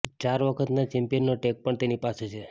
ચાર વખતના ચૅમ્પિયનનો ટૅગ પણ તેની પાસે છે